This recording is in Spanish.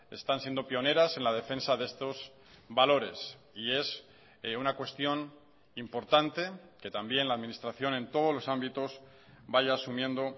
están siendo pioneras en la defensa de estos valores y es una cuestión importante que también la administración en todos los ámbitos vaya asumiendo